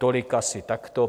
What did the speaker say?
Tolik asi takto.